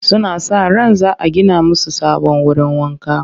Suna sa ran za a gina musu sabon wurin wanka